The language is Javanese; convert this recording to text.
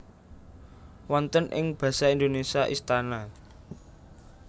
Wonten ing Basa Indonesia Istana